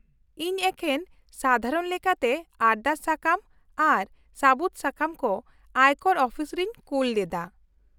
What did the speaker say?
-ᱤᱧ ᱮᱠᱮᱱ ᱥᱟᱫᱷᱟᱨᱚᱱ ᱞᱮᱠᱟᱛᱮ ᱟᱨᱫᱟᱥ ᱥᱟᱠᱟᱢ ᱟᱨ ᱥᱟᱹᱵᱩᱫ ᱥᱟᱠᱟᱢ ᱠᱚ ᱟᱭᱠᱚᱨ ᱚᱯᱷᱤᱥ ᱨᱤᱧ ᱠᱩᱞ ᱞᱮᱫᱟ ᱾